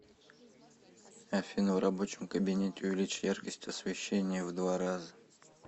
афина в рабочем кабинете увеличь яркость освещения в два раза